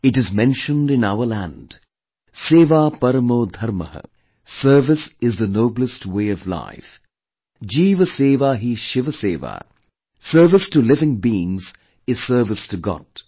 It is mentioned in our land 'Sewa Parmo Dharmah'... service is the noblest way of life, 'Jeev Seva hi Shiv Seva'... Service to living beings is service to god